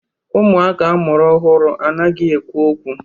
Ụmụaka amụrụ ọhụrụ anaghị ekwu okwu.